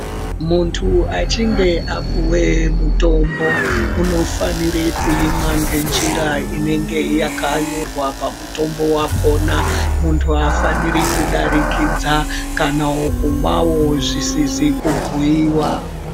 Muntu achinge apuwe mutombo, unofanire kuimwa ngenjira inonga yakanyorwa pamutombo wakhona. Aafaniri kudarikidza, kana kumwawo zvisizi kubhuiwa.